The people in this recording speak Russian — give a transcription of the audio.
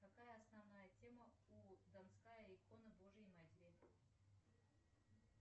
какая основная тема у донская икона божьей матери